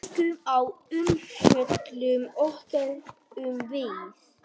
Kíkjum á umfjöllun okkar um Víði.